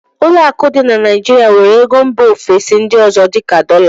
ụlọ akụ dị na Naijirịa nwere ego mba ofesi ndị ọzọ dị ka dọla